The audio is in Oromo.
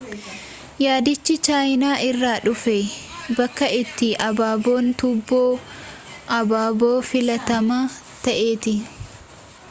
yaadichii chaayinaa irraa dhufee bakka itti abaabon tuuboo abaaboo filatamaa ta'etti